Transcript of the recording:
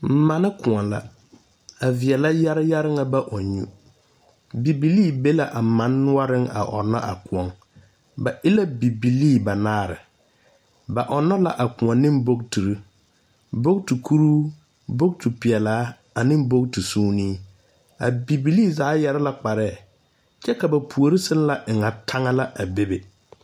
Mane kõɔ la. A veɛleŋ yare yare ŋa ba ɔŋ nyu. Bibilii be la a mane noɔreŋ a ɔnna a kõɔ. Ba e la bibilee banaare. Ba ɔnno la a kõɔ ne bogtirr. Bogti kuruu, bogti peɛlaa ane bogti suunee. A Bibilii zaa yare la kparɛɛ. Kyɛ ka ba puori sella eŋa taŋa la a bebe.